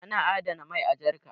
ana adana mai a jarka